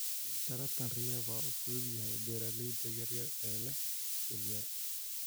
Taranka riyaha waa u fududahay beeralayda yaryar ee leh dhul yar.